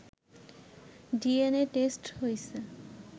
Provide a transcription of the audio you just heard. DNA test হইছে